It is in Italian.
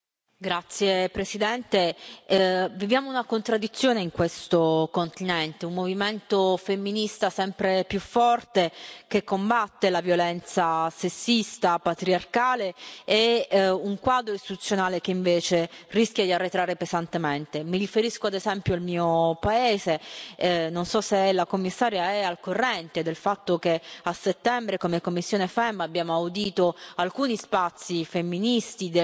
Signor Presidente, onorevoli colleghi, viviamo una contraddizione in questo continente un movimento femminista sempre più forte, che combatte la violenza sessista patriarcale, e un quadro istituzionale che invece rischia di arretrare pesantemente. Mi riferisco ad esempio al mio paese. Non so se la Commissaria è al corrente del fatto che a settembre, come commissione FEMM, abbiamo audito alcuni spazi femministi,